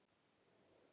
Það er fæst sem ræður.